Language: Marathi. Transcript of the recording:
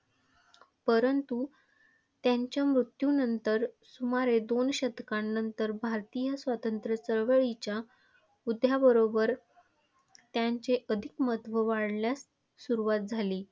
परंतु, त्यांच्या मृत्यूनंतर सुमारे दोन शतकांनंतर भारतीय स्वातंत्र्य चळवळीच्या उदयाबरोबर त्यांचे अधिक महत्त्व वाढण्यास सुरुवात झाली.